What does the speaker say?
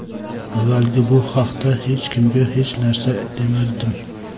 Avvaliga bu haqda hech kimga hech narsa demadim.